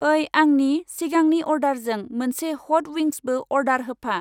ओइ, आंनि सिगांनि अर्दारजों मोनसे हट विंसबो अर्दार होफा।